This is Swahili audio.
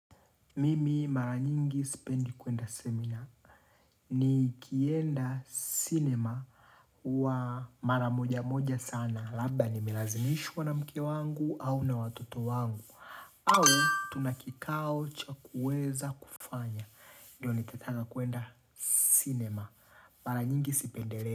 Mimi mara nyingi sipendi kuenda seminar nikienda sinema huwa mara moja moja sana labda nimelazimishwa na mke wangu au na watoto wangu au tuna kikao cha kuweza kufanya ndiyo nikataka kuenda sinema mara nyingi sipendelei.